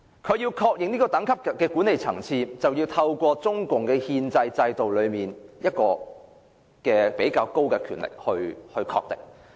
屬這個管理層次政府之間的《合作安排》，須交由中共憲制內較高層次的權力機構確認。